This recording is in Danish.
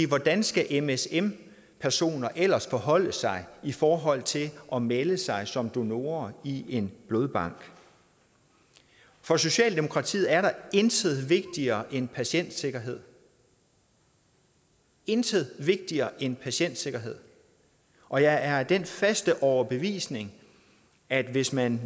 hvordan skal msm personer ellers forholde sig i forhold til at melde sig som donorer i en blodbank for socialdemokratiet er der intet vigtigere end patientsikkerhed intet vigtigere end patientsikkerhed og jeg er af den faste overbevisning at hvis man